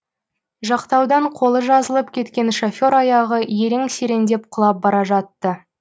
жақтаудан қолы жазылып кеткен шофер аяғы ерең сереңдеп құлап бара жатты